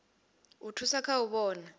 u thusa kha u vhona